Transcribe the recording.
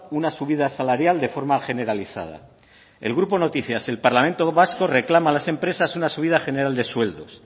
una subida salarial de forma generalizada el grupo noticias el parlamento vasco reclama a las empresas una subida general de sueldos